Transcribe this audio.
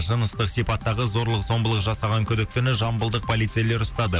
жыныстық сипаттағы зорлық зомбылық жасаған күдіктіні жамбылдық полицейлер ұстады